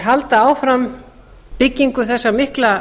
halda áfram byggingu þessa mikla